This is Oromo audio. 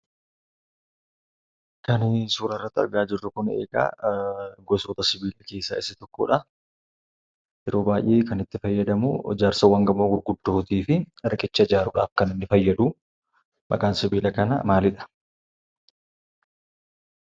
Kan, suuraarratti arga jirru kunii, egaa gosoota sibila keessa isa tokkodha. yeroo baay'ee kan, itti fayyadamu, ijaarsawwan gamoo gurguddooti fi riqicha ijaaruudhaf kaniin fayyadu. Maqaan sibila kanaa maaliidha?